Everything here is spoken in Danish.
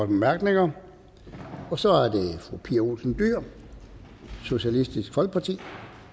bemærkninger og så er det fru pia olsen dyhr socialistisk folkeparti